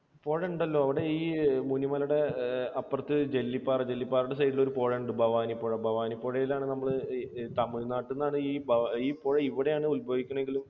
പുഴ ഉണ്ടല്ലോ അവിടെ ഈ മുനിമലയുടെ അപ്പുറത്ത് ജെല്ലിപ്പാറ. ജെല്ലിപ്പാറയുടെ side ൽ ഒരു പുഴ ഉണ്ട് ഭവാനിപ്പുഴ. ഭവാനിപ്പുഴയിൽ ആണ് നമ്മൾ, തമിഴ് നാട്ടിൽ നിന്നാണ് നമ്മൾ, ഈ പുഴ ഇവിടെയാണ് ഉത്ഭവിക്കുന്നത് എങ്കിലും